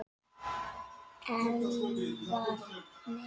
Eldvarnir áttu að vera fullnægjandi. sagði